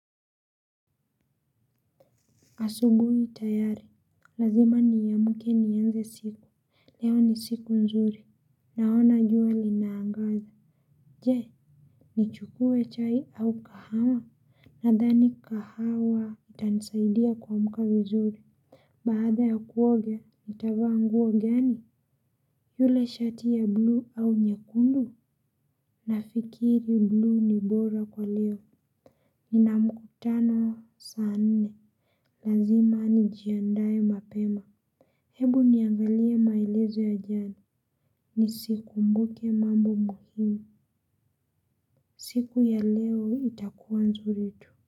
Asubuhi tayari. Lazima niamke nianze siku. Leo ni siku nzuri. Naona jua linaangaza. Je.m, nichukue chai au kahawa? Nadhani kahawa itanisaidia kuamka vizuri. Baada ya kuoga, nitavaa nguo gani? Yule shati ya buluu au nyekundu? Nafikiri buluu ni bora kwa leo. Nina mkutano saa nne. Lazima nijiandae mapema. Hebu niangalie mailezo ya jana. Nisikumbuke mambo muhimu. Siku ya leo itakuwa nzuri tu.